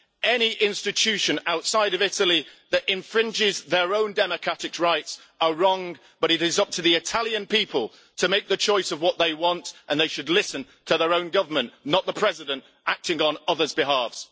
Any institution outside of Italy that infringes their own democratic rights are wrong, but it is up to the Italian people to make the choice of what they want, and they should listen to their own government, not the President acting on others' behalves.